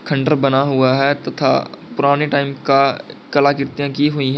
खंडर बना हुआ है तथा पुरानी टाइम का कला कृतियां की हुई हैं।